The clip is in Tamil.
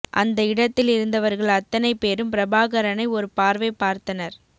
அந்த இடத்தில் இருந்தவர்கள் அத்தனை பேரும் பிரபாகரனை ஒரு பார்வை பார்த்தனர்